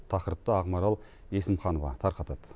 тақырыпты ақмарал есімханова тарқатады